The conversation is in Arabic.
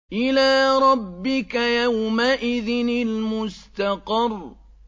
إِلَىٰ رَبِّكَ يَوْمَئِذٍ الْمُسْتَقَرُّ